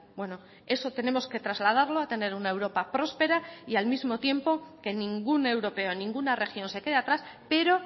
bueno eso tenemos que trasladarlo a tener una europa próspera y al mismo tiempo que ningún europeo ninguna región se quede atrás pero